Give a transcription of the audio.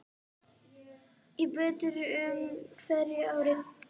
Æ betur með hverju ári.